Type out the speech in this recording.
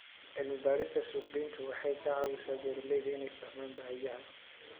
Cilmi-baarista suuqgeyntu waxay ka caawisaa beeralayda inay fahmaan baahiyaha.